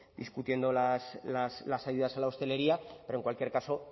discutiendo las ayudas a la hostelería pero en cualquier caso